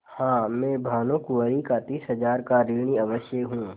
हाँ मैं भानुकुँवरि का तीस हजार का ऋणी अवश्य हूँ